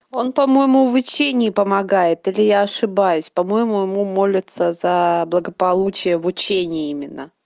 он по-моему в учении помогает или я ошибаюсь по-моему ему молятся за благополучие в учении именно